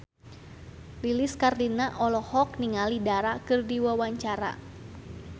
Lilis Karlina olohok ningali Dara keur diwawancara